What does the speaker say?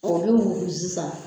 O bɛ mugu sisan.